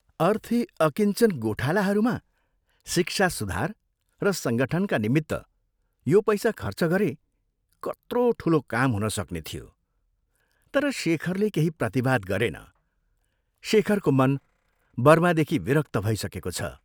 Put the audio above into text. अर्थी अकिञ्चन गोठालाहरूमा शिक्षा सुधार र संगठनका निमित्त यो पैसा खर्च गरे कत्रो ठूलो काम हुन सक्ने थियो तर शेखरले केही प्रतिवाद गरेन, शेखरको मन बर्मादेखि विरक्त भइसकेको छ।